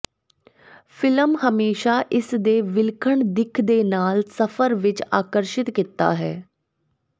film ਹਮੇਸ਼ਾ ਇਸ ਦੇ ਵਿਲੱਖਣ ਦਿੱਖ ਦੇ ਨਾਲ ਸਫ਼ਰ ਵਿੱਚ ਆਕਰਸ਼ਿਤ ਕੀਤਾ ਹੈ